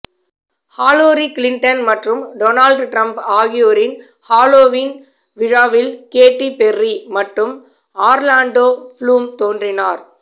ஹாலோரி Clinton மற்றும் Donald Trump ஆகியோரின் Halloween விழாவில் கேட்டி பெர்ரி மற்றும் ஆர்லாண்டோ ப்ளூம் தோன்றினர்